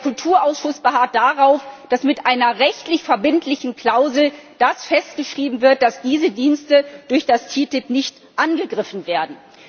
Der Kulturausschuss beharrt darauf, dass mit einer rechtlich verbindlichen Klausel festgeschrieben wird, dass diese Dienste durch die TTIP nicht angegriffen werden.